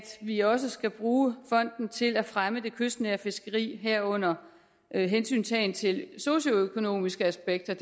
vi også skal bruge fonden til at fremme det kystnære fiskeri herunder hensyntagen til socioøkonomiske aspekter